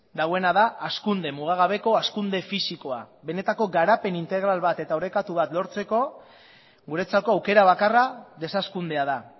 dagoena da hazkunde mugagabeko hazkunde fisikoa benetako garapen integral bat eta orekatu bat lortzeko guretzako aukera bakarra deshazkundea da